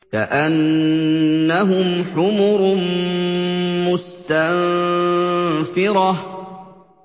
كَأَنَّهُمْ حُمُرٌ مُّسْتَنفِرَةٌ